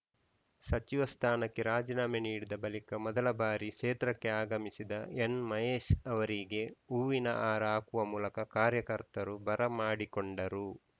ಸಚಿವ ಸ್ಥಾನಕ್ಕೆ ರಾಜೀನಾಮೆ ನೀಡಿದ ಬಳಿಕ ಮೊದಲ ಬಾರಿ ಕ್ಷೇತ್ರಕ್ಕೆ ಆಗಮಿಸಿದ ಎನ್‌ಮಹೇಶ್‌ ಅವರಿಗೆ ಹೂವಿನ ಹಾರ ಹಾಕುವ ಮೂಲಕ ಕಾರ್ಯಕರ್ತರು ಬರಮಾಡಿಕೊಂಡರು